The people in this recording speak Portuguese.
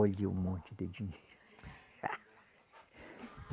Olha o monte de dinheiro.